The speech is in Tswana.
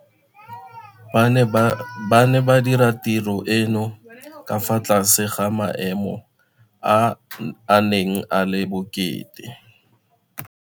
Ba ne ba dira tiro eno ka fa tlase ga maemo a a neng a le bokete.